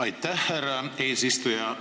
Aitäh, härra eesistuja!